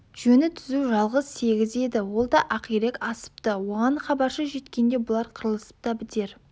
жөні түзу жалғыз сегіз еді ол да ақирек асыпты оған хабаршы жеткенше бұлар қырылысып та бітер